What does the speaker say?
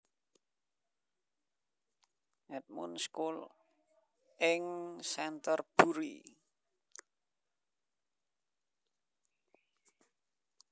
Edmund School ing Centerbury